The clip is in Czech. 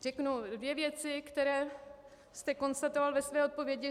Řeknu dvě věci, které jste konstatoval ve své odpovědi.